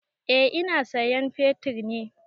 Eh ina sayan fetir ne.